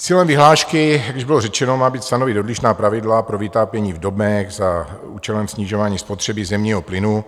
Cílem vyhlášky, jak již bylo řečeno, má být stanovit odlišná pravidla pro vytápění v domech za účelem snižování spotřeby zemního plynu,